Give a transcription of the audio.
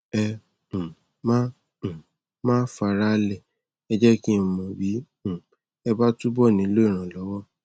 ẹ um má um má fara á lẹ ẹ jẹ kí n mọ bí um ẹ bá túbọ nílò ìrànlọwọ